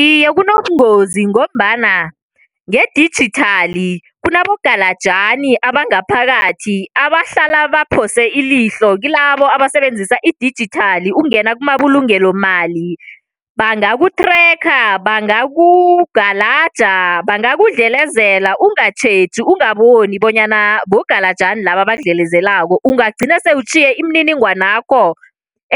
Iye kunobungozi ngombana ngedijithali kunabogalajani abangaphakathi, abahlala baphose ilihlo kilabo abasebenzisa idijithali ukungena kumabulungelomali. Bangaku-tracker, bangakugalaja, bangakudlelezela ungatjheji ungaboni bonyana bogalajani laba abakudlelezelako. Ungagcina sele utjhiye imininingwanakho